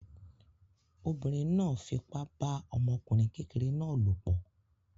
Obìnrin náà fipá bá ọmọkùnrin kékeré náà lòpọ̀